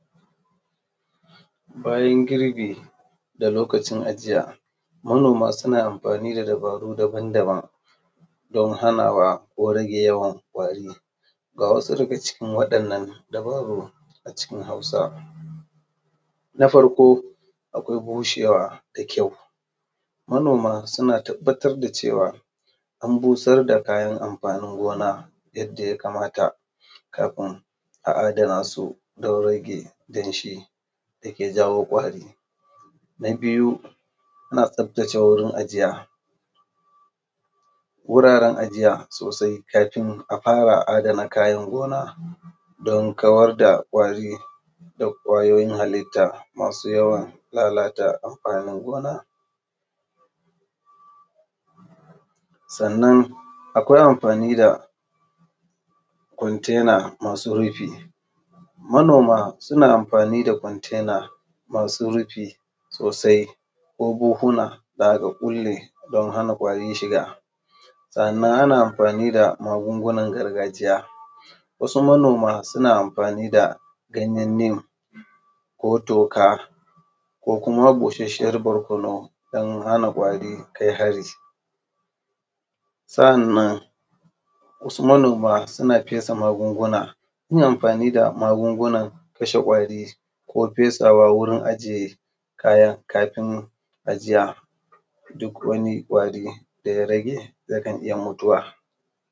Bayan girbi da lokacin ajiya. Manoma su na amfani da dabaru dabam dabam don hanawa ko rage yawan ƙwari, ga wasu daga cikin wadan nan dabaru a cikin Hausa: Na farko akwai bushewa da kyau, manoma suna tabbatar da cewa an busar da kayan amfanin gona yadda ya kamata kafin a adanasu don rage danshi dake jawo kwari. Na biyu ana tsaftace wurin ajiya, wuraren ajiya sosai kafin a fara adana kayan gona don kawar da ƙwari da ƙwayoyin halitta masu yawan lalata amfanin gona. Sannan akwai amfani da kwantaina masu rufi, manoma su na amfani da kwantaina masu rufi sosai ko buhuna da aka kulle don hana ƙwari shiga. Sa’annan ana amfani da magungunan gargajiya, wasu manoma suna amfani da ganyen nim ko toka, ko kuma busashiyar barkonu don hana ƙwari kai hari. Sa’anan wasu manoma su na fesa magunguna, yin amfani da magungunan kashe kwari ko fesawa wajen wurin ajiye kayan kafin ajiya, duk wani ƙwari daya rage ya kan iya mutuwa